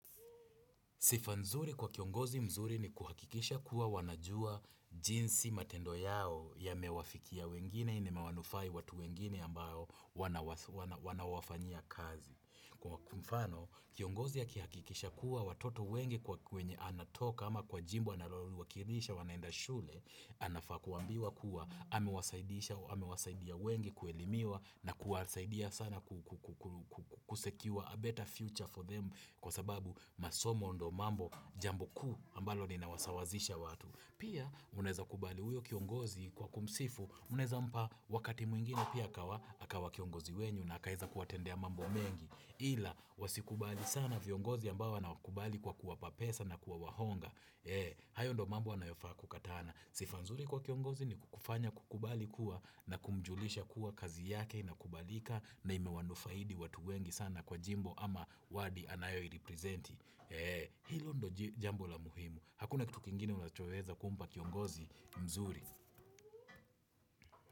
Sifa nzuri kwa kiongozi mzuri ni kuhakikisha kuwa wanajua jinsi matendo yao yamewafikia wengine na imewanufai watu wengine ambayo wanawafanyia kazi. Kwa mfano, kiongozi akihakikisha kuwa watoto wengi kwa kwenye anatoka ama kwa jimbo analoliwakilisha wanaenda shule, anafaa kuambiwa kuwa amewasaidisha, amewasaidia wengi kuelimiwa na kuwasaidia sana kusecure a better future for them kwa sababu masomo ndio mambo jambo kuu ambalo linawasawazisha watu. Pia, mnaeza kubali huyo kiongozi kwa kumsifu, mnaeza mpa wakati mwingine pia akawa kiongozi wenyu na akaeza kuwatendea mambo mengi. Ila, wasikubali sana viongozi ambao wanaokubali kwa kuwapa pesa na kwa kuwahonga. Hayo ndo mambo anayofaa kukatana. Sifa nzuri kwa kiongozi ni kukufanya kukubali kuwa na kumjulisha kuwa kazi yake inakubalika na imewanufaidi watu wengi sana kwa jimbo ama wadi anayoiripresenti. Ee. Hilo ndio jambo la muhimu. Hakuna kitu kingine unachoweza kumpa kiongozi mzuri.